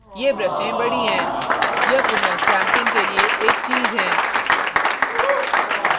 ये ब्रशें बड़ी हैं यह पुनः stamping के लिए एक चीज़ हैं